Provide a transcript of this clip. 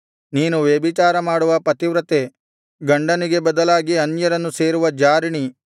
ನೀನು ವ್ಯಭಿಚಾರಮಾಡುವ ಪತಿವ್ರತೆ ಗಂಡನಿಗೆ ಬದಲಾಗಿ ಅನ್ಯರನ್ನು ಸೇರುವ ಜಾರಿಣಿ